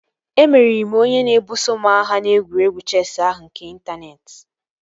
Emeriri m onye na-ebuso m agha n'egwuregwu chesị ahụ nke n'intaneeti